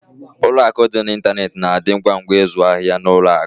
Ụlọ akụ dị n'ịntanetị na-adị ngwa ngwa n'ịzụ ahịa ụlọ akụ.